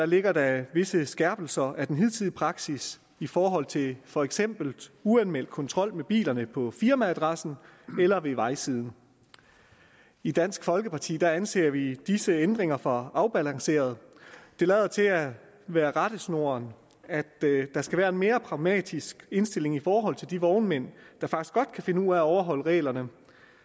ligger der visse skærpelser af den hidtidige praksis i forhold til for eksempel uanmeldt kontrol med bilerne på firmaadressen eller ved vejsiden i dansk folkeparti anser vi disse ændringer for afbalancerede det lader til at være rettesnoren at der skal være en mere pragmatisk indstilling i forhold til de vognmænd der faktisk godt kan finde ud af at overholde reglerne